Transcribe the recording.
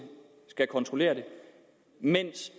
skal kontrollere det mens